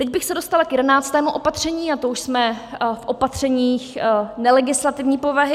Teď bych se dostala k jedenáctému opatření, a to už jsme v opatřeních nelegislativní povahy.